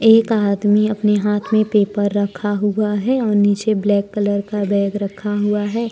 एक आदमी अपने हाथ में पेपर रखा हुआ है और नीचे ब्लैक कलर का बैग रखा हुआ है।